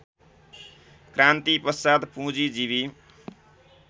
क्रान्तिपश्चात् पुँजीजीवी